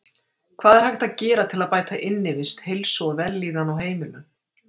Hvað er hægt að gera til að bæta innivist, heilsu og vellíðan á heimilum?